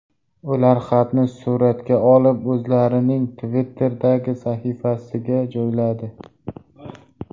Ular xatni suratga olib o‘zlarining Twitter’dagi sahifasiga joyladi.